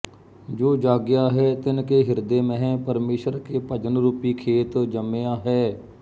ਜੋ ਜਾਗਿਆ ਹੈ ਤਿਨ ਕੇ ਹਿਰਦੈ ਮਹਿ ਪਰਮੇਸ਼ਰ ਕੇ ਭਜਨ ਰੂਪੀ ਖੇਤ ਜੰਮਿਆ ਹੈ